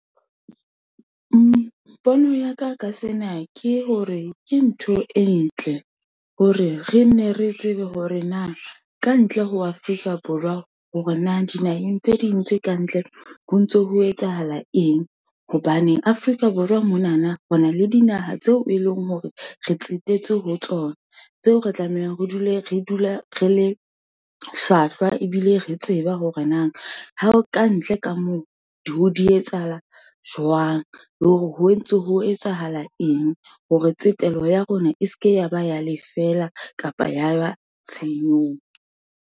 Pono ya ka sena ke hore ke ntho e ntle, hore re nne re tsebe hore na kantle ho Afrika Borwa, hore na dinaheng tse ding tse kantle, ho ntso ho etsahala eng, hobaneng Afrika Borwa monana re na le dinaha tseo e leng hore re tsetetse ho tsona, tseo re tlamehang re dula re le hlwahlwa, ebile re tseba hore na ha ho kantle ka moo, di ho di etsahala jwang, le hore ho ntse ho etsahala eng, hore tsetelo ya rona, e seke ya ba ya lefela, kapa ya ba tshenyong.